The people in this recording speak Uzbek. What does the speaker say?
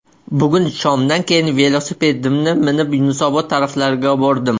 Bugun shomdan keyin velosipedimni minib Yunusobod taraflarga bordim.